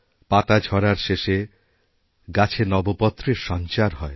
পাতা ঝরার শেষে গাছে নবপত্রেরসঞ্চার হয়